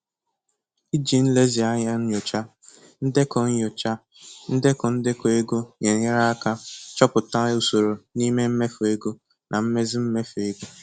Iji nlezianya nyochaa ndekọ nyochaa ndekọ ndekọ ego na-enyere aka chọpụta usoro n'ime mmefu ego na mmezi mmefu ego.